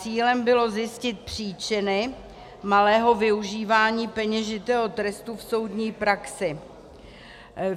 Cílem bylo zjistit příčiny malého využívání peněžitého trestu v soudní praxi.